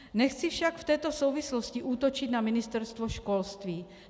Nechci však v této souvislosti útočit na Ministerstvo školství.